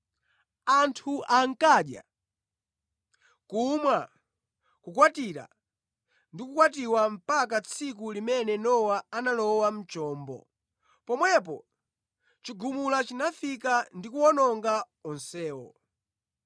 Anthu ankadya, kumwa, kukwatira ndi kukwatiwa mpaka tsiku limene Nowa analowa mʼchombo. Pomwepo chigumula chinafika ndi kuwawononga onsewo.